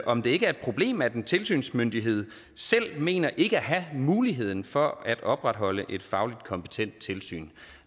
om det ikke er et problem at en tilsynsmyndighed selv mener ikke at have muligheden for at opretholde et fagligt kompetent tilsyn